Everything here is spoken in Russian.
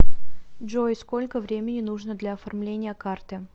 джой сколько времени нужно для оформления карты